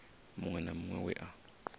muṅwe na muṅwe we a